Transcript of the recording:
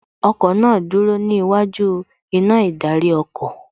Ọkọ̀ náà dúró níwájú iná ìdarí ọkọ̀